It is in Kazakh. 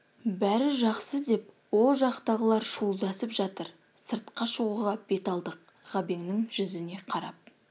бәрі жақсы деп ол жақтағылар шуылдасып жатыр сыртқа шығуға бет алдық ғабеңнің жүзіне қарап